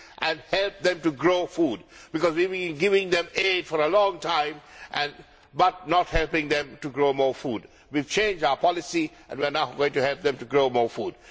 and help them to grow food, because we have been giving them aid for a long time but not helping them to grow more food. We have changed our policy and we are now going to help them to grow more food.